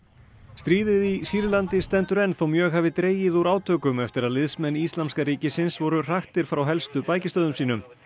stríðið í Sýrlandi stendur enn þótt mjög hafi dregið úr átökum eftir að liðsmenn Íslamska ríkisins voru hraktir frá helstu bækistöðvum sínum